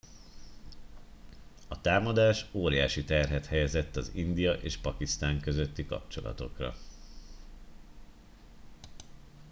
a támadás óriási terhet helyezett az india és pakisztán közötti kapcsolatokra